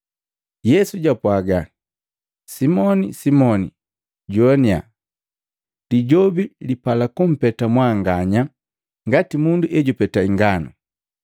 Yesu japwaaga, “Simoni, Simoni! Joanya! Lijobi lipala kumpeta mwanganya ngati mundu ejupeta inganu.